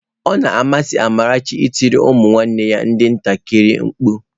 Ọ na amasị Amarachi ị tiri ụmụnne ya ndị ntakịrị mkpu.